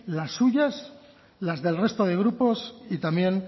las suyas las del resto de grupos y también